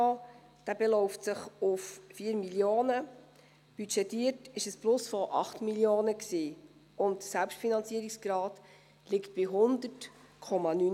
Der Finanzierungssaldo beläuft sich auf 4 Mio. Franken, budgetiert war ein Plus von 8 Mio. Franken, und der Selbstfinanzierungsgrad liegt bei 100,9 Prozent.